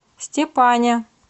степане